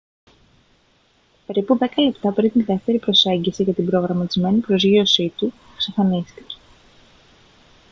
περίπου δέκα λεπτά πριν τη δεύτερη προσέγγιση για την προγραμματισμένη προσγείωσή του εξαφανίστηκε